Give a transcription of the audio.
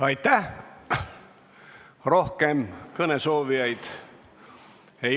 Aitäh!